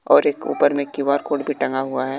और एक ऊपर में क्यू_आर कोड भी टंगा हुआ है।